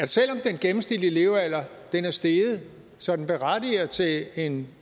selv om den gennemsnitlige levealder er steget så den berettiger til en